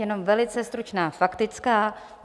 Jenom velice stručná faktická.